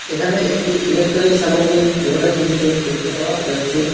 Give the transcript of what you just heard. এখানে একটি ইলেকট্রনিক সামগ্রীর দোকানের দৃশ্য দেখতে পাওয়া যাচ্ছে।